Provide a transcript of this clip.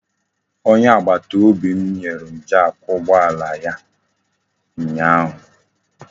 Onye agbataobi m nyere m jak ụgbọala ya ụnyaahụ.